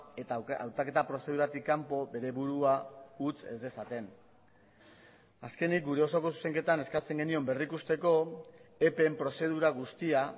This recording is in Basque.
eta hautaketa prozeduratik kanpo bere burua utz ez dezaten azkenik gure osoko zuzenketan eskatzen genion berrikusteko epeen prozedura guztia